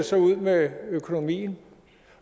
ser ud med økonomien